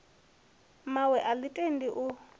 mmawe a ḽi tendi u